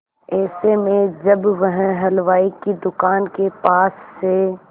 ऐसे में जब वह हलवाई की दुकान के पास से